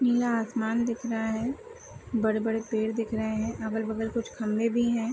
नीला आसमान दिख रहा है बड़े-बड़े पेड़ दिख रहे है अगल-बगल कुछ खम्भे भी है ।